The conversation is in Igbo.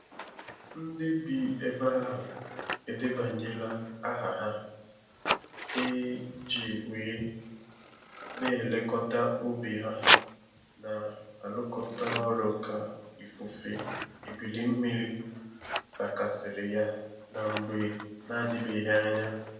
Nde bi ebe ahụ edebanyela aha ha i ji wee n'elekota ubi ha na arụkọta orụ ka ifufe ebili mmiri lakasiri ya na mgbe n'adibeghi anya.